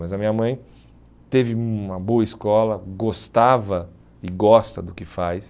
Mas a minha mãe teve uma boa escola, gostava e gosta do que faz.